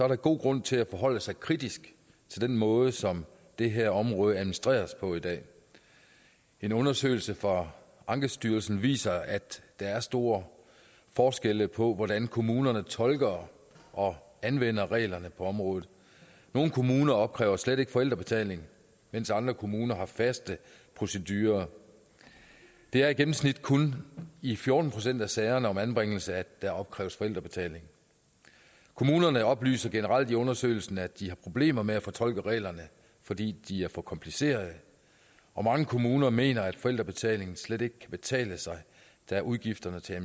der god grund til at forholde sig kritisk til den måde som det her område administreres på i dag en undersøgelse fra ankestyrelsen viser at der er store forskelle på hvordan kommunerne tolker og anvender reglerne på området nogle kommuner opkræver slet ikke forældrebetaling mens andre kommuner har faste procedurer det er i gennemsnit kun i fjorten procent af sagerne om anbringelse at der opkræves forældrebetaling kommunerne oplyser generelt i undersøgelsen at de har problemer med at fortolke reglerne fordi de er for komplicerede og mange kommuner mener at forældrebetalingen slet ikke kan betale sig da udgifterne til